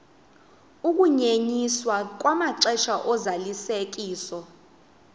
ukunyenyiswa kwamaxesha ozalisekiso